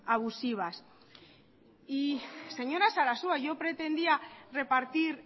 abusivas y señora sarasua yo pretendía repartir